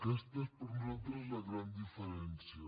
aquesta és per nosaltres la gran diferència